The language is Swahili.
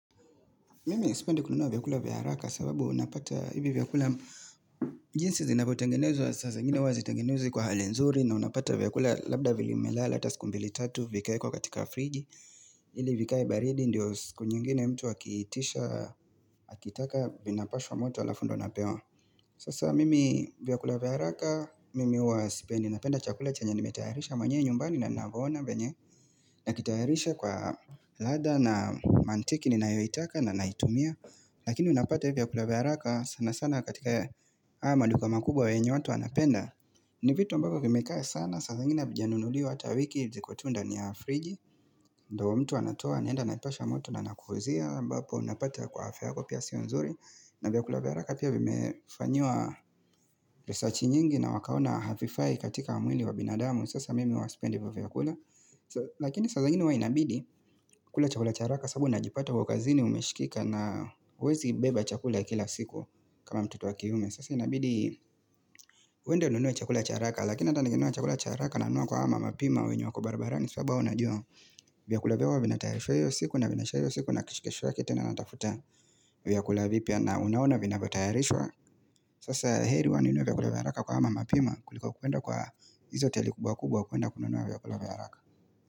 Mimi sipendi kununua vyakula vya haraka sababu unapata hivi vyakula jinsi zinapotengenezwa sasa zingine huwa hazitengenezwi kwa hali nzuri na unapata vyakula labda vilimelala ata siku mbili tatu vikawekwa katika friji ili vikaae baridi ndio siku nyingine mtu akitisha, wakitaka vinapashwa moto alafu ndo anapewa Sasa mimi vyakula vya haraka, mimi huwa sipendi napenda chakula chenye nimetayarisha mwenyewe nyumbani na navona venye na kitayarisha kwa ladha na mantiki ni nayoitaka na naitumia Lakini unapata hii vyakula vya haraka sana sana katika haya maduga makubwa wenye watu anapenda ni vitu ambavyo vimekaa sana, saa zingine hazijanunuliwa hata wiki ziko tu ndani ya friji ndo mtu anatoa, anaenda naipasha moto na nakukuuzia ambapo unapata kwa afya yako pia sio nzuri na vyakula vya haraka pia vimefanyiwa resachi nyingi na wakaona hafifai katika mwili wa binadamu Sasa mimi huwa sipende vyakula Lakini sasa zingine huwa inabidi kula chakula cha haraka sabu najipata kwa kazini umeshikika na uwezi beba chakula kila siku kama mtoto wa kiume Sasa inabidi uende ununue chakula cha haka lakini ata nikinunua chakula cha haka naunua kwa awa mapima wenye wako barabarani saba unajua vyakula vyao vina tayarishwa hiyo siku na vinaisha hiyo siku na kesho yake pia natafuta vya kula vipya na unaona vinavyotayarishwa Sasa heri huwa ninunue vyakula vya haka kwa awa mamapima kuliko kuenda kwa hizo hoteli kubwa kubwa kuenda kununua vyakula vya haraka.